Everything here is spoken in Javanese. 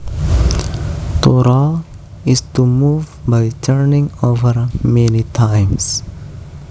To roll is to move by turning over many times